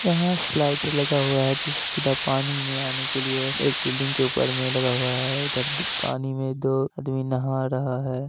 यहा स्लाइडर लगा हुआ है जिससे सीधा पानी में आने के लिए एक बिल्डिंग के ऊपर मे लगा हुआ है इधर दो पानी में दो आदमी नहा रहा है।